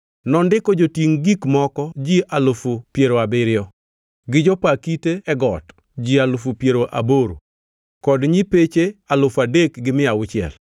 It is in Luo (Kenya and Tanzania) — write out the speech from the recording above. Nondiko jotingʼ gik moko ji alufu piero abiriyo (70,000) gi jopa kite e got ji alufu piero aboro (80,000) kod nyipeche alufu adek gi mia auchiel (3,600).